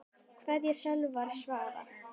Kveðja Salvör Svava.